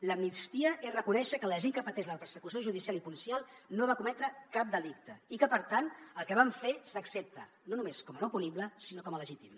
l’amnistia és reconèixer que la gent que pateix la persecució judicial i policial no va cometre cap delicte i que per tant el que van fer s’accepta no només com a no punible sinó com a legítim